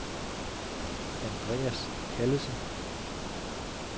Andreas Callesen